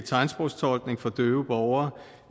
tegnsprogstolkning for døve borgere